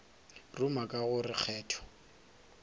ruma ka go re kgetho